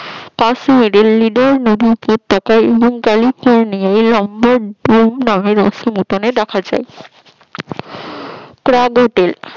Mary উপত্যকায় এবং ক্যালিফোর্নিয়ায় এই মসৃণাতন দেখা যায়